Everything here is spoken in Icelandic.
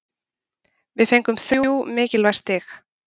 Við fengum þrjú mikilvæg stig.